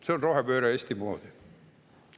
See on rohepööre Eesti moodi!